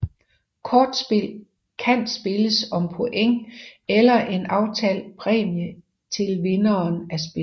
Kortspil kan spilles om point eller en aftalt præmie til vinderen af spillet